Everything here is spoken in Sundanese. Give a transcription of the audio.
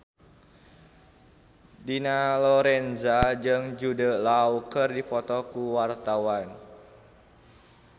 Dina Lorenza jeung Jude Law keur dipoto ku wartawan